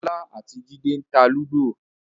ọlá àti jide ń tá Ludo